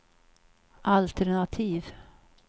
alternativ